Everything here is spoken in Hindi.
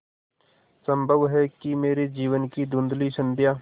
संभव है कि मेरे जीवन की धँुधली संध्या